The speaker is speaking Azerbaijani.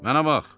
Mənə bax.